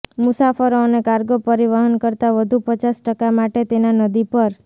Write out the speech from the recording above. મુસાફરો અને કાર્ગો પરિવહન કરતાં વધુ પચાસ ટકા માટે તેના નદી પર